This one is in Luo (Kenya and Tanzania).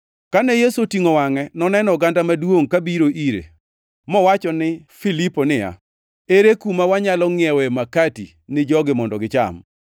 Kane Yesu otingʼo wangʼe noneno oganda maduongʼ kabiro ire, mowachone Filipo niya, “Ere kuma wanyalo ngʼiewe makati ni jogi mondo gicham?”